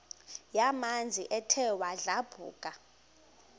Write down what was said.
yamanzi ethe yadlabhuka